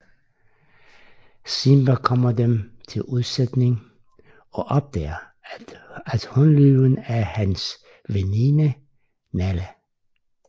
Simba kommer dem til undsætning og opdager at hunløven er hans veninde Nala